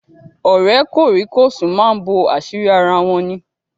Ọ̀rẹ́ kòríkòsùn máa ń bo àṣírí ara wọn ní.